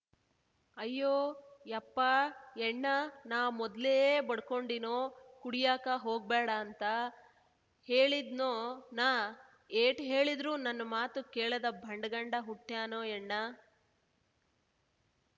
ಅಯ್ಯೋ ಯಪ್ಪಾ ಯಣ್ಣಾ ನಾ ಮೊದ್ಲೇ ಬಡ್ಕೊಂಡಿನೋ ಕುಡಿಯಾಕ ಹೋಗ್ಬ್ಯಾಡ ಅಂತ ಹೇಳಿದ್ನೋ ನಾ ಏಟ್ ಹೇಳಿದ್ರೂ ನನ್ನ ಮಾತು ಕೇಳದ ಬಂಡ ಗಂಡ ಹುಟ್ಯಾನೋ ಯಣ್ಣಾ